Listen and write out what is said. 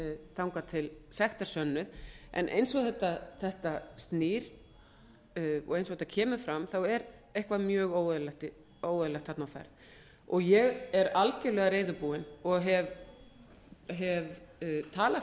þangað til sekt er sönnuð en eins og þetta snýr og eins og þetta kemur fram er eitthvað mjög óeðlilegt þarna á ferð ég er algjörlega reiðubúin og hef talað